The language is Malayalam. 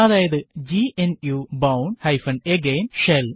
അതായത് ഗ്നു bourne അഗെയിൻ ഷെൽ